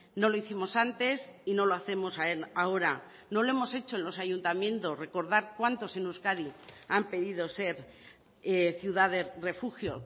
no lo hicimos antes y no lo hacemos ahora no lo hemos hecho en los ayuntamientos recordar cuántos en euskadi han pedido ser ciudad refugio